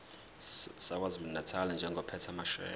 sakwazulunatali njengophethe amasheya